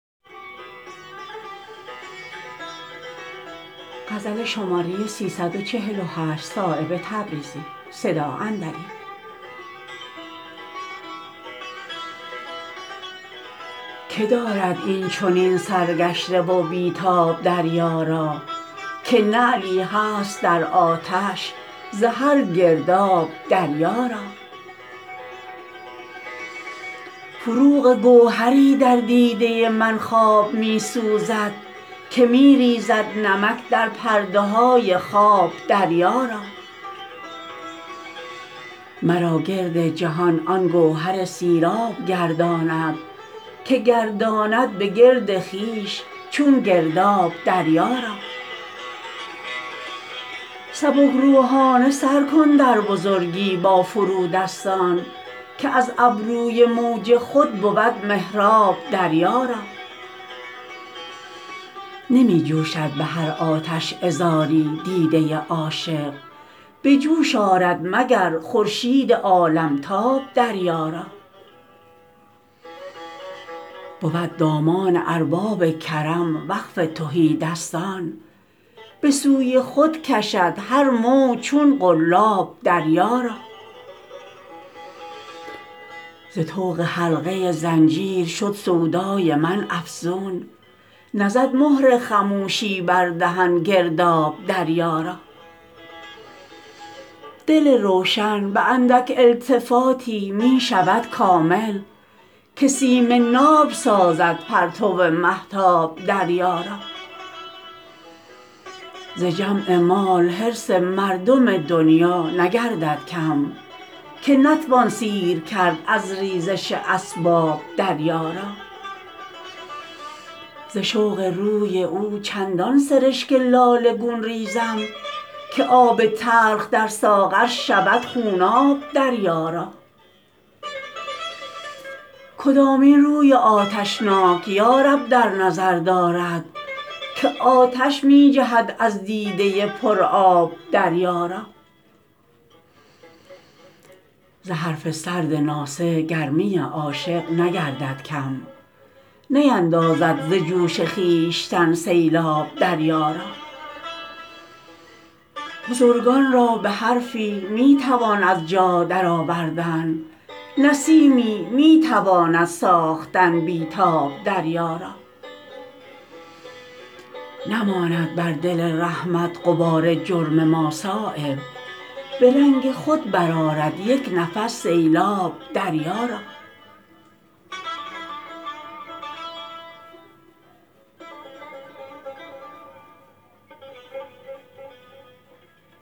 که دارد این چنین سرگشته و بی تاب دریا را که نعلی هست در آتش ز هر گرداب دریا را فروغ گوهری در دیده من خواب می سوزد که می ریزد نمک در پرده های خواب دریا را مرا گرد جهان آن گوهر سیراب گرداند که گرداند به گرد خویش چون گرداب دریا را سبکروحانه سر کن در بزرگی با فرودستان که از ابروی موج خود بود محراب دریا را نمی جوشد به هر آتش عذاری دیده عاشق به جوش آرد مگر خورشید عالمتاب دریا را بود دامان ارباب کرم وقف تهیدستان به سوی خود کشد هر موج چون قلاب دریا را ز طوق حلقه زنجیر شد سودای من افزون نزد مهر خموشی بر دهن گرداب دریا را دل روشن به اندک التفاتی می شود کامل که سیم ناب سازد پرتو مهتاب دریا را ز جمع مال حرص مردم دنیا نگردد کم که نتوان سیر کرد از ریزش اسباب دریا را ز شوق روی او چندان سرشک لاله گون ریزم که آب تلخ در ساغر شود خوناب دریا را کدامین روی آتشناک یارب در نظر دارد که آتش می جهد از دیده پر آب دریا را ز حرف سرد ناصح گرمی عاشق نگردد کم نیندازد ز جوش خویشتن سیلاب دریا را بزرگان را به حرفی می توان از جا درآوردن نسیمی می تواند ساختن بی تاب دریا را نماند بر دل رحمت غبار جرم ما صایب به رنگ خود برآرد یک نفس سیلاب دریا را